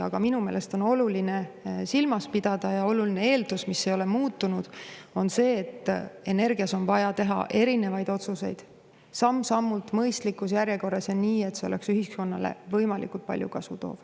Aga minu meelest on oluline silmas pidada olulist eeldust, mis ei ole muutunud: see on see, et energias on vaja teha erinevaid otsuseid samm-sammult, mõistlikus järjekorras ja nii, et see tooks ühiskonnale võimalikult palju kasu.